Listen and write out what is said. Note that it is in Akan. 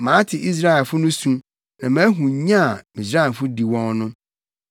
Mate Israelfo no su na mahu nya a Misraimfo di wɔn no.